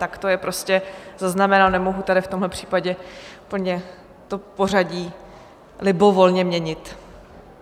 Tak to je prostě zaznamenáno, nemohu tady v tomhle případě úplně to pořadí libovolně měnit.